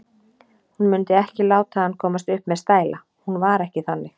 Hún mundi ekki láta hann komast upp með stæla, hún var ekki þannig.